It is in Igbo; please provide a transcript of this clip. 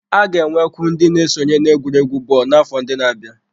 A ga-enwekwu ndị ga-esonye n'egwuregwu bọọlụ n'afọ ndị na-abịa.